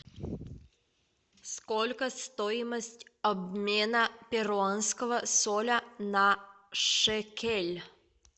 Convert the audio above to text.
сколько стоимость обмена перуанского соля на шекель